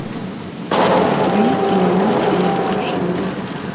у тебя есть кино норм и несокрушимые